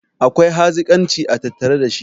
akwai hazikanci a tattare da shi